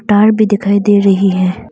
तार भी दिखाई दे रही है।